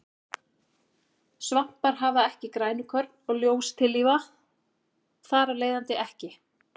Svampar hafa ekki grænukorn og ljóstillífa þar af leiðandi ekki.